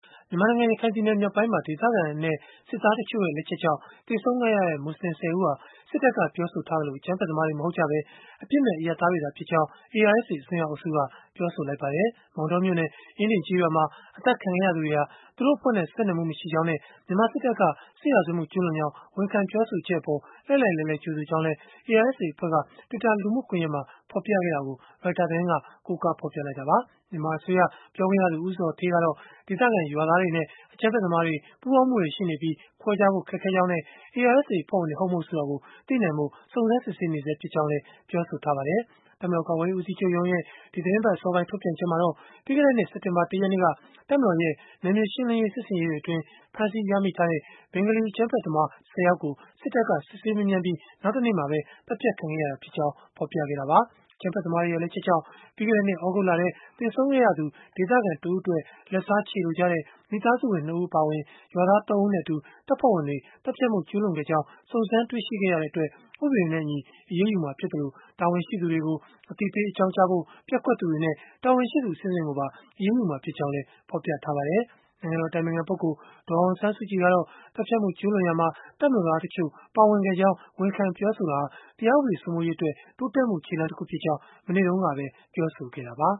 မြန်မာနိုင်ငံ ရခိုင်ပြည်နယ် မြောက်ပိုင်းမှာ အရပ်သားနဲ့ စစ်သားတချို့ရဲ့ လက်ချက်ကြောင့် သေဆုံးခဲ့ရတဲ့ မူဆလင် ၁၀ ဦး ဟာ စစ်တပ်က ပြောဆိုထားသလို၊ အကြမ်းဖက်သမားတွေ မဟုတ်ကြဘဲ အပြစ်မဲ့အရပ်သားတွေသာဖြစ်ကြောင်း ARSA အစွန်းရောက်အုပ်စုက ပြောဆိုလိုက်ပါတယ်။ မောင်တောမြို့နယ် အင်းဒင်ကျေးရွာမှာ အသတ်ခံခဲ့ရသူတွေဟာ သူတို့အဖွဲ့နဲ့ ဆက်နွယ်မှု မရှိကြောင်းနဲ့ မြန်မာစစ်တပ်က စစ်ရာဇဝတ်မှု ကျုးလွန်ကြောင်း ဝန်ခံပြောဆိုချက်အပေါ် လှိုက်လှိုက်လှဲလှဲ ကြိုဆိုကြောင်းလည်း ARSA အဖွဲ့က Twitter လူမှုကွန်ယက်မှာ ဖော်ပြခဲ့တာကို Reuters သတင်းက ကိုးကားဖော်ပြခဲ့တာပါ။ မြန်မာအစိုးရ ပြောခွင့်ရသူ ဦးဇော်ဌေး ကတော့ ဒေသခံရွာသားတွေနဲ့ အကြမ်းဖက်သမားတွေ ပူးပေါင်းမှုတွေ ရှိနေပြီး ခွဲခြားဖို့ ခက်ခဲကြောင်းနဲ့ ARSA အဖွဲ့ဝင်တွေ ဟုတ်မဟုတ် ဆိုတာကို သိနိုင်ဖို့ စုံစမ်းစစ်ဆေးနေဆဲ ဖြစ်ကြောင်းလည်း ပြောဆိုထားပါတယ်။ တပ်မတော် ကာကွယ်ရေး ဦးစီးချုပ်ရုံးရဲ့ ဒီသီတင်းပတ် အစောပိုင်း ထုတ်ပြန်ချက်မှာတော့ ပြီးခဲ့တဲ့နှစ် စက်တင်ဘာ ၁ ရက်နေ့က တပ်မတော်ရဲ့ နယ်မြေရှင်းလင်းရေး စစ်ဆင်ရေးတွေအတွင်း ဖမ်းဆီးရမိထားတဲ့ ဘင်္ဂါလီ အကြမ်းဖက်သမား ၁၀ ယောက်ကို စစ်တပ်က စစ်ဆေးမေးမြန်းပြီး နောက်တနေ့မှာပဲ သတ်ဖြတ်ခံခဲ့ရတာဖြစ်ကြောင်း ဖော်ပြခဲ့တာပါ။ အကြမ်းဖက်သမားတွေရဲ့ လက်ချက်ကြောင့် ပြီးခဲ့တဲ့နှစ် သြဂုတ်လထဲ သေဆုံးခဲ့ရသူ ဒေသခံတဦးအတွက် လက်စားချေလိုကြတဲ့ မိသားစုဝင် ၂ ဦး အပါအဝင် ရွာသား ၃ ဦးနဲ့အတူ တပ်ဖွဲ့ဝင်တွေက သတ်ဖြတ်မှုကျုးလွန်ခဲ့ကြောင်း စုံစမ်းတွေ့ရှိခဲ့ရတဲ့အတွက် ဥပဒေနဲ့အညီ အရေးယူမှာ ဖြစ်သလို၊ တာဝန်ရှိသူတွေကို အသိပေး အကြောင်းကြားဖို့ ပျက်ကွက်သူတွေနဲ့ တာဝန်ရှိသူ အဆင့်ဆင့်ကိုပါ အရေးယူမှာ ဖြစ်ကြောင်းလည်း ဖော်ပြထားပါတယ်။ နိုင်ငံတော် အတိုင်ပင်ခံပုဂ္ဂိုလ် ဒေါ်အောင်ဆန်းစုကြည် ကတော့ သတ်ဖြတ်မှုကျုးလွန်ရာမှာ တပ်မတော်သားတချို့ ပါဝင်ခဲ့ကြောင်း ဝန်ခံပြောဆိုတာဟာ တရားဥပဒေ စိုးမိုးရေးအတွက် တိုးတက်မှု ခြေလှမ်းတခုဖြစ်ကြောင်း မနေ့တုန်းကပဲ ပြောဆိုခဲ့တာပါ